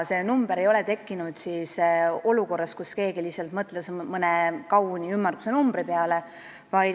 See number ei ole tekkinud nii, et keegi lihtsalt mõtles mõne kauni ümmarguse numbri peale.